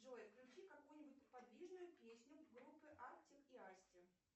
джой включи какую нибудь подвижную песню группы артик и асти